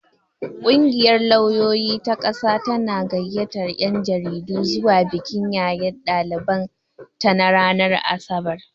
Kungiyar lauyoyi ta ƙasa tana gayyatar 'yan jaridu zuwa bikin yaye daliban ta ranar asabar.